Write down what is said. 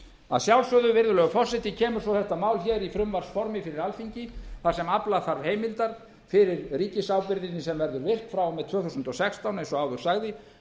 að sjálfsögðu virðulegi forseti kemur svo þetta mál í frumvarpsformi fyrir alþingi þar sem afla þarf heimildar fyrir ríkisábyrgðinni sem verður veitt frá og með tvö þúsund og sextán eins og áður sagði